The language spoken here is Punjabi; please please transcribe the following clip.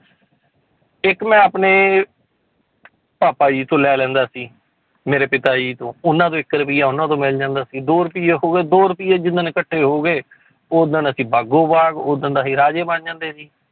ਇੱਕ ਮੈਂ ਆਪਣੇ ਭਾਪਾ ਜੀ ਤੋਂ ਲੈ ਲੈਂਦਾ ਸੀ ਮੇਰੇ ਪਿਤਾ ਜੀ ਤੋਂ, ਉਹਨਾਂ ਤੋਂ ਇੱਕ ਰੁਪਈਆ ਉਹਨਾਂ ਤੋਂ ਮਿਲ ਜਾਂਦਾ ਸੀ, ਦੋ ਰੁਪਈਏ ਹੋ ਗਏ ਦੋ ਰੁਪਈਏ ਜਿੱਦਣ ਇਕੱਠੇ ਹੋ ਗਏ ਓਦਣ ਅਸੀਂ ਬਾਗੋ ਬਾਗ਼ ਓਦਣ ਤਾਂ ਅਸੀਂ ਰਾਜੇ ਬਣ ਜਾਂਦੇ ਸੀ